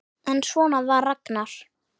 En svona var Ragnar.